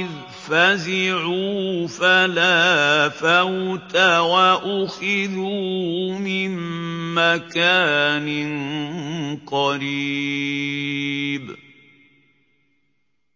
إِذْ فَزِعُوا فَلَا فَوْتَ وَأُخِذُوا مِن مَّكَانٍ قَرِيبٍ